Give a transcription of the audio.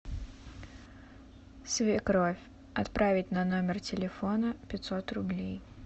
свекровь отправить на номер телефона пятьсот рублей